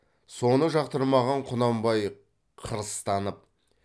соны жақтырмаған құнанбай қырыстанып